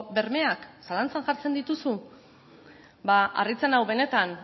bermeak zalantzak jartzen dituzu ba harritzen nau benetan